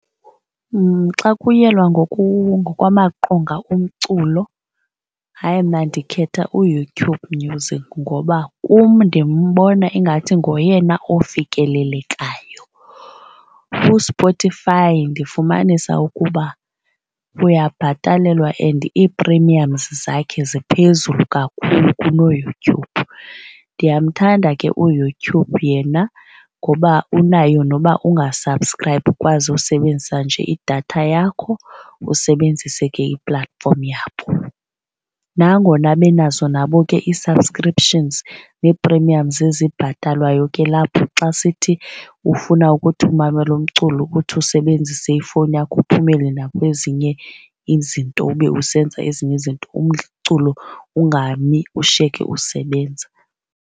Xa kuyelwa ngokwamaqonga omculo hayi mna ndikhetha uYouTube Music ngoba kum ndimbona ingathi ngoyena ofikelelekayo. USpotify ndifumanisa ukuba uyabhatalelwa and i-premiums zakhe ziphezulu kakhulu kunoYouTube. Ndiyamthanda ke uYouTube yena ngoba unayo noba unga-subscribe ukwazi usebenzisa nje idatha yakho usebenzise ke i-platform yabo. Nangona benazo nabo ke ii-subscriptions nee-premiums ezibhatalwayo ke lapho xa sithi ufuna ukuthi umamela umculo ukuthi usebenzise ifowuni yakho uphumele nakwezinye izinto ube usenza ezinye izinto umculo ungami ushiyeke usebenza.